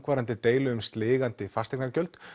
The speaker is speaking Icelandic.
deilum um sligandi fasteignagjöld